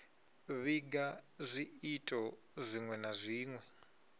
vhiga zwiito zwinwe na zwinwe